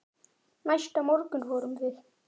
Næsta morgun fórum við